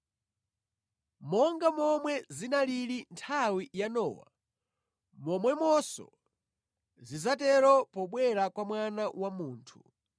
Monga momwe zinalili nthawi ya Nowa, momwemonso zidzatero pobwera kwa Mwana wa Munthu.